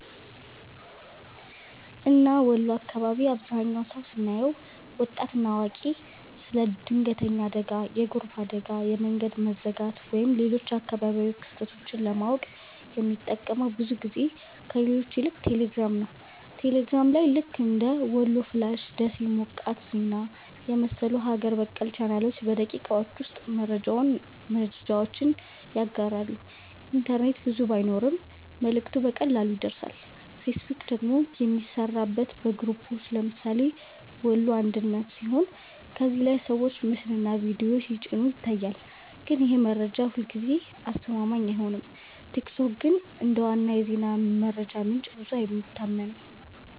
እና ወሎ አካባቢ አብዛህኛው ሰው ስናየው( ወጣት እና አዋቂ) ስለ ድንገተኛ አደጋ፣ የጎርፍ አደጋ፣ የመንገድ መዘጋት ወይም ሌሎች አካባቢያዊ ክስተቶች ለማወቅ የሚጠቀመው ብዙ ጊዜ ከሌሎች ይልቅ ቴሌግራም ነው። ቴሌግራም ላይ ልክ እንደ "ወሎ ፍላሽ''፣ “ደሴ ሞቃት ዜና” የመሰሉ ሀገር በቀል ቻናሎች በደቂቃዎች ውስጥ መረጃውን ያጋራሉ፤ ኢንተርኔት ብዙ ባይኖርም መልእክቱ በቀላሉ ይደርሳል። ፌስቡክ ደግሞ የሚሠራበት በግሩፖች (ለምሳሌ “ወሎ አንድነት”) ሲሆን ከዚያ ላይ ሰዎች ምስልና ቪዲዮ ሲጭኑ ይታያል፣ ግን ይህ መረጃ ሁልጊዜ አስተማማኝ አይሆንም። ቲክቶክ ግን እንደ ዋና የዜና መረጃ ምንጭ ብዙ አይታመንም።